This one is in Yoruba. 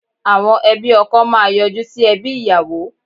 Àwọn ẹbí ọkọ máa yọjú sí ẹbí ìyàwó